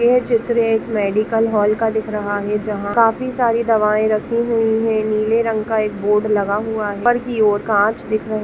यह चित्र एक मेडिकल हॉल का दिख रहा है जहां काफी सारी दवाए रखी हुई है नीले रंग का एक बोर्ड लगा हुआ है वहां ऊपर की ओर कांच दिख रहे --